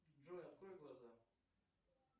джой открой глаза